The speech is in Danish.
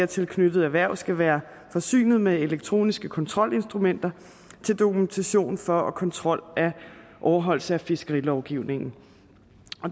tilknyttede erhverv skal være forsynet med elektroniske kontrolinstrumenter til dokumentation for og kontrol af overholdelse af fiskerilovgivningen